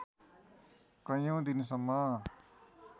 कैयौँ दिनसम्म